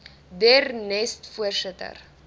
der nest voorsitter